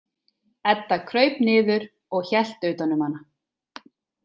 Edda kraup niður og hélt utan um hana.